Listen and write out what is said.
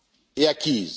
et acquise.